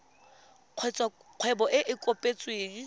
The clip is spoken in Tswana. kgotsa kgwebo e e kopetsweng